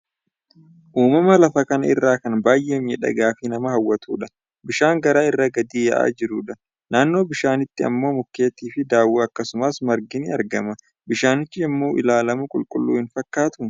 uumama lafa kanaa irraa kan baay'ee miidhagaa fi nama hawwatudha. Bishaan gaara irraa gadi yaa'aa jirudha. Naannoo bishaanichaatti immoo, mukeetti fi dhaawwan, akkasumas margi ni argama. Bishaanichi yommuu ilaalamu qulqulluu hin fakkaatu.